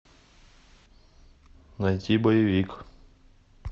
найти боевик